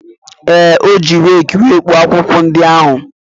Ee, ọ ji reekị e kpopụ akwụkwọ ndị ahụ.